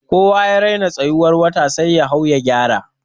Kowa ya raina tsayiwar wata sai ya hau ya gyara.